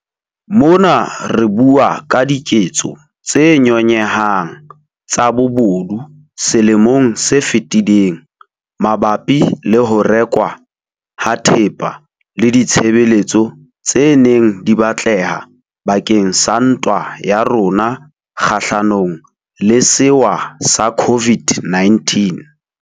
Mona re bua ka diketso tse nyonyehang tsa bobodu selemong se fetileng mabapi le ho rekwa ha thepa le ditshebeletso tse neng di batleha bakeng sa ntwa ya rona kgahlanong le sewa sa COVID-19.